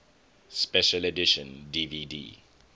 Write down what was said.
special edition dvd